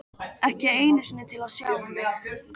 Ekki einu sinni til að sjá mig.